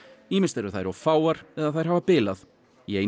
ýmist eru þær of fáar eða þær hafa bilað í einu